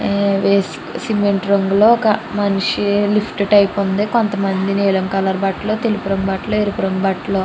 వేసుకు సిమెంట్ రంగులో ఒక మనిషి లిఫ్ట్ టైపు లో ఉంది. కొంతమంది నీలం రంగు బట్టలు తెలుపు రంగు బట్టలు ఎరుపు రంగు బట్టలు --